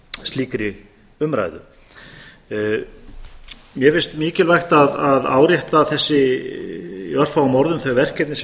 slíkri umræðu mér finnst mikilvægt að árétta í örfáum orðum þau verkefni sem